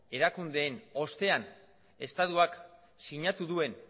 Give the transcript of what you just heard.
erakundeen ostean estatuak sinatu duen